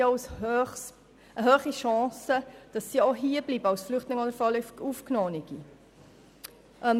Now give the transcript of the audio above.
Diese verfügen über hohe Chancen, als Flüchtlinge oder vorläufig Aufgenommene hier zu bleiben.